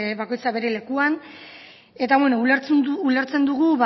bakoitza bere lekuan eta bueno ulertzen dugu